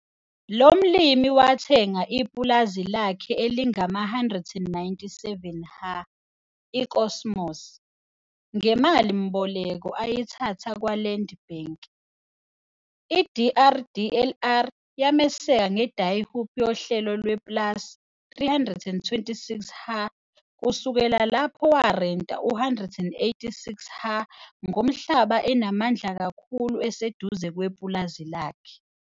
Lo mlimi wathenga ipulazi lakhe elingama-197 ha, i-Kosmos, ngemalimboleko ayithatha kwa-Land Bank. I-DRDLR yameseka nge-Die Hoop yohlelo lwe-PLAS - 326 ha kusukela lapho warenta u-186 ha ngomhlaba enamandla kakhulu eseduze kwepulazi lakhe.